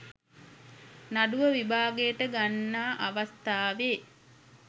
නඩුව විභාගයට ගන්නා අවස්ථාවේ